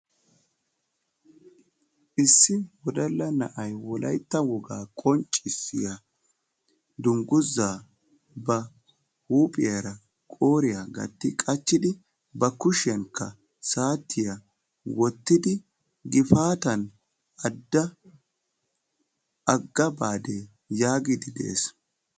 issi wodalla na'ay wolaytta wogaa qonccissiyaa dungguza ba huuphiyaara qooriya gatti qachchidi ba kushiyaankka saatiyaa wottidi gifaata adda agga baade yaagide de'ees.